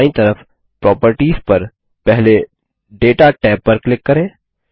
अब दायीं तरफ प्रॉपर्टीज पर पहले दाता टैब पर क्लिक करें